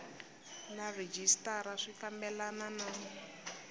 na rhejisitara swi fambelena na